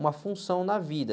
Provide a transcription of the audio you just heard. uma função na vida.